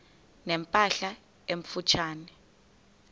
ne mpahla emfutshane